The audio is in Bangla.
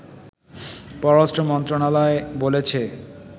পররাষ্ট্র মন্ত্রণালয় বলেছে